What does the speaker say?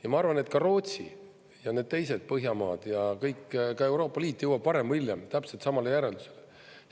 Ja ma arvan, et ka Rootsi ja need teised Põhjamaad ja kõik, ka Euroopa Liit jõuab varem või hiljem täpselt samale järeldusele.